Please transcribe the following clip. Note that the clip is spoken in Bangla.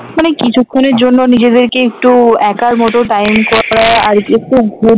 মানে কিছুক্ষণের জন্য নিজেদেরকে একটু একার মত time